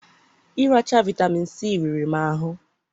ịracha vitamin C riri m ahụ